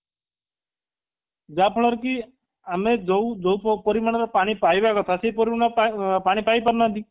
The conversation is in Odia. ଯାହା ଫଳରେ କି ଆମେ ଯୋଉ ଯୋଉ ପରିମାଣର ପାଣି ପାଇବା କଥା ସେଇ ପରିମାଣର ପାଣି ପାଇ ପାରୁନାହାନ୍ତି